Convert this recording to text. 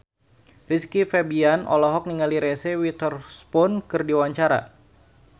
Rizky Febian olohok ningali Reese Witherspoon keur diwawancara